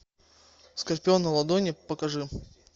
скорпион на ладони покажи